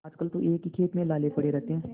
आजकल तो एक ही खेप में लाले पड़े रहते हैं